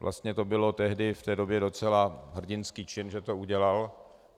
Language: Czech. Vlastně to byl tehdy v té době docela hrdinský čin, že to udělal.